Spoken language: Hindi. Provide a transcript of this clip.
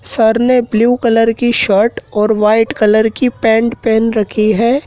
सर ने ब्लू कलर की शर्ट और वाइट कलर की पैंट पहेन रखी है।